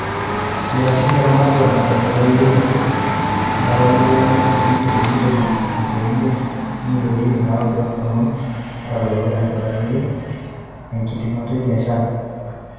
Eitasheki ematua natonyorikinoteki emponaroto o njilingini ibilioni ntomoni ile o imiet o milioni iip naaudo too lomon leutaroto tenenyoriki enkitingoto e biashara.